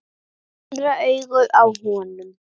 Það andaði köldu frá sjónum.